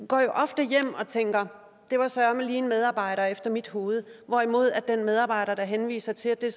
går jo ofte hjem og tænker det var søreme lige en medarbejder efter mit hoved hvorimod den medarbejder der henviser til at det